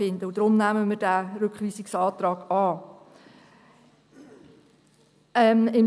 Deshalb nehmen wir diesen Rückweisungsantrag an.